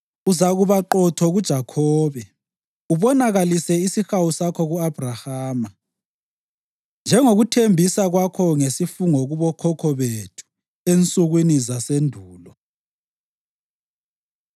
Uzakuba qotho kuJakhobe, ubonakalise isihawu sakho ku-Abhrahama, njengokuthembisa kwakho ngesifungo kubokhokho bethu ensukwini zasendulo.